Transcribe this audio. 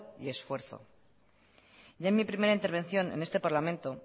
y esfuerzo ya en mi primera intervención en este parlamento